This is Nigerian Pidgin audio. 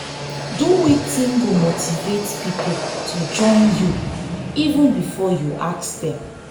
do wetin go motivate pipo to join you you even before you ask dem